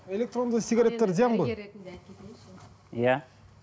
электронды сигареттер зиян ғой иә